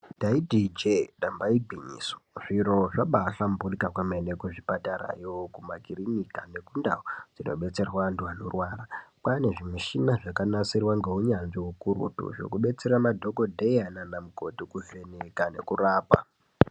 Ndaiiti ijeee damba igwinyiso zviro zvabahlamburika kwemene kuzvipatarayo kumakirinika nekundau dzinodetserwa antu anorwara kwane zvimichina zvakanisirwa ngeunyanzvi ukurutu zvekubatsira madhokoteya nanamukoti kuvheneka nekurapa.